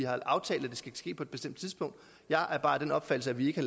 aftalt at det skal ske på et bestemt tidspunkt jeg er bare af den opfattelse at vi ikke